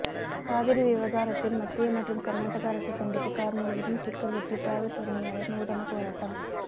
காவிரி விவாகரத்தில் மத்திய மற்றும் கர்நாடக அரசை கண்டித்து கார் முழுவதும் ஸ்டிக்கர் ஒட்டி டிராவல்ஸ் உரிமையாளர் நூதன போராட்டம்